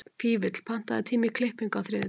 Fífill, pantaðu tíma í klippingu á þriðjudaginn.